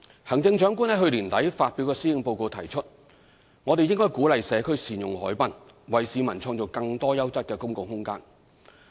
行政長官在去年年底發表的施政報告提議，我們應鼓勵社區善用海濱，為市民創造更多優質的公共空間。